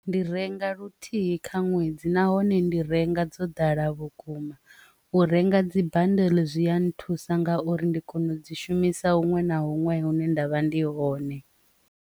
Ndi renga luthihi kha ṅwedzi nahone ndi renga dzo ḓala vhukuma u renga dzibandili zwi a nthusa nga uri ndi kone u dzi shumisa huṅwe na huṅwe hune ndavha ndi hone.